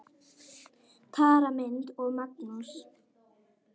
Tara Lynd og Magnús.